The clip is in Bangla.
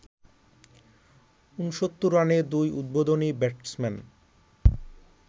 ৬৯ রানে দুই উদ্বোধনী ব্যাটসম্যান